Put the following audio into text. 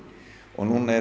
og núna erum